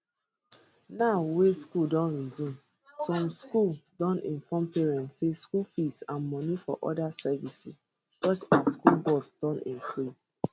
now wey schools don resume some schools don inform parents say school fees and moni for oda services such as school bus don increase